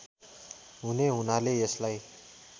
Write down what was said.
हुने हुनाले यसलाई